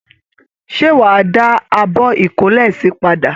Ṣé wa dà àbọ ikole si padà?